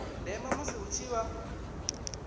ndeme musi hu tshi vha